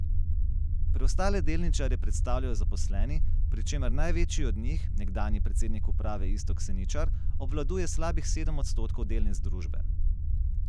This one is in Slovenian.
Preostale delničarje predstavljajo zaposleni, pri čemer največji od njih, nekdanji predsednik uprave Iztok Seničar, obvladuje slabih sedem odstotkov delnic družbe.